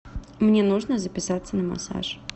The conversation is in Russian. мне нужно записаться на массаж